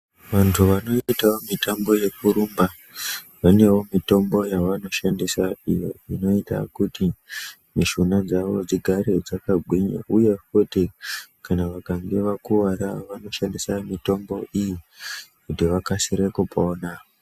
Vantu vanoitawo mitambo yekurumba vanewo mutombo yavanoshandisa iyo inoita kuti mushuna dzavo dzigare dzakagwinya uye kuti vakange vakuwara vanoshandisa mutombo iyi kuti vakasire kupona.